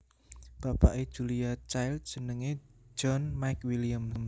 Bapake Julia Child jenenge John McWilliams